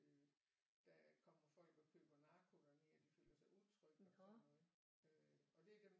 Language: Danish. Der kommer folk og køber narko dernede og de føler sig utrygge og sådan noget øh og det er dem